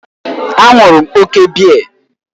A ṅụrụ m òkè biya.